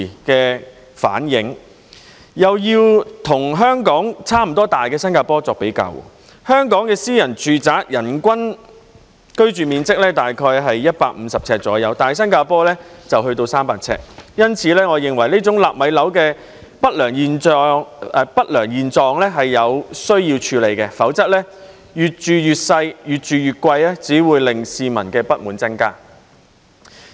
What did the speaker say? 又以與香港差不多大的新加坡作比較，香港的私人住宅人均居住面積大約是150平方呎，但新加坡則有300平方呎，因此，我認為這種"納米樓"的不良現象是有需要處理的，否則，"越住越細，越住越貴"只會令市民的不滿增加。